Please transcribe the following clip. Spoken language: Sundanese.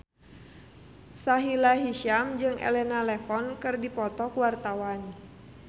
Sahila Hisyam jeung Elena Levon keur dipoto ku wartawan